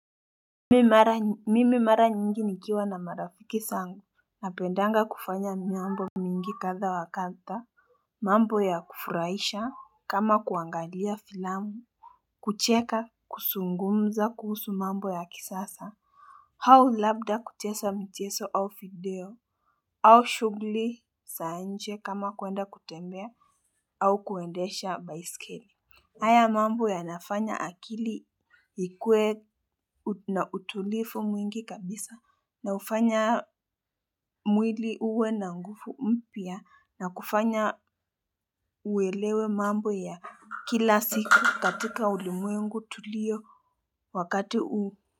Mimi mara nyingi nikiwa na marafiki zangu, napendanga kufanya nyambo mingi kadha wa kadha mambo ya kufuraisha kama kuangalia filamu. Kucheka, kuzungumza kuhusu mambo ya kisasa. Au labda kucheza michezo au video. Au shughuli za nje kama kuenda kutembea au kuendesha baisikeli. Haya mambo yanafanya akili ikuwe na utulivu mwingi kabisa na hufanya mwili uwe na nguvu mpya na kufanya uelewe mambo ya kila siku katika ulimwengu tulio wakati huu.